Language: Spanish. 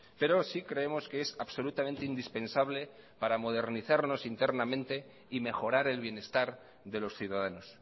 pero sí creemos que es absolutamente indispensable para modernizarnos internamente y mejorar el bienestar de los ciudadanos